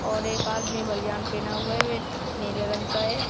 और एक आदमी बनियान पहना हुए है नीले रंग का है।